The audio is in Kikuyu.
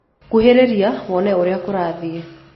Kũhĩrĩrĩa wone ũrĩa kũrathĩe